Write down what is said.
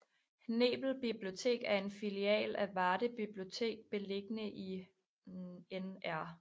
Nebel Bibliotek er en filial af Varde Bibliotek beliggende i Nr